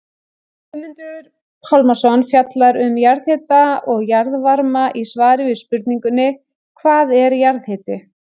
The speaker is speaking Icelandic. Guðmundur Pálmason fjallar um jarðhita og jarðvarma í svari við spurningunni Hvað er jarðhiti?